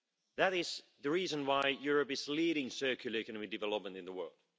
That is the reason why Europe is leading circular economy development in the world.